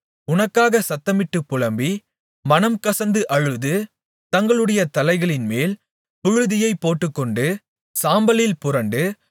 உனக்காக சத்தமிட்டுப் புலம்பி மனம்கசந்து அழுது தங்களுடைய தலைகளின்மேல் புழுதியைப் போட்டுக்கொண்டு சாம்பலில் புரண்டு